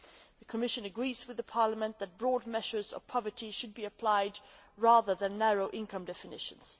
The Commission agrees with Parliament that broad measures of poverty should be applied rather than narrow income definitions.